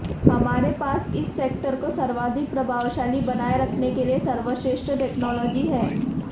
हमारे पास इस सेक्टर को सर्वाधिक प्रभावशाली बनाए रखने के लिए सर्वश्रेष्ठ टेक्नोलॉजी हैं